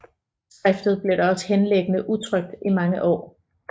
Skriftet blev da også henliggende utrykt i mange år